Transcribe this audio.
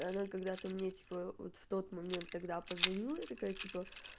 она когда ты мне типа вот в тот момент тогда позвонила и такая типа